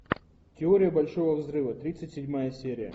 теория большого взрыва тридцать седьмая серия